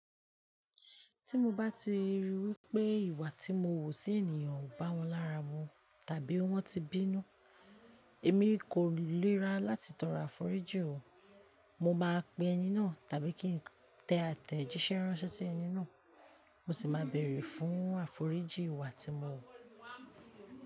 Tí mo bá ti ríi wí pé ìwà tí mo wu sí ènìyàn ò bá wọn lára mu tàbí wọ́n ti bínú, èmi kò lè ra láti tọrọ àforíjì òun, mo máa pe ẹni náà tàbí kí n tẹ àtẹ jíṣẹ́ ránṣẹ́ sí ẹni náà, mo sì máa bẹ̀rẹ̀ fún àforíjì ìwà tí mo wu.